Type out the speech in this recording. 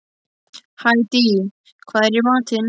Hædý, hvað er í matinn?